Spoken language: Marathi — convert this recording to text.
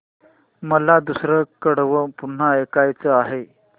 मला दुसरं कडवं पुन्हा ऐकायचं आहे